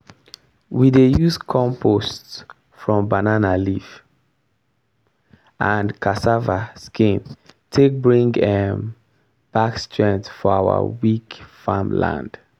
we dey use compost from banana leaf and cassava skin take bring um back strength for our weak farm land.